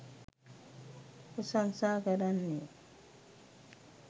ප්‍රශංසා කරන්නේ්